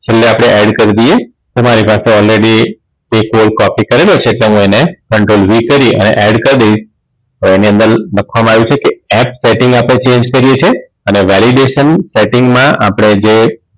છેલ્લે આપણે add કરી દઈએ મારી પાસે already એ code copy કરેલો છે એટલે હું એને control v કરી અને એડ કરી દઈશ હવે એની અંદર લખવામાં આવ્યુ છે કે setting આપણે change કરીએ છીએ અને validation setting માં આપણે જે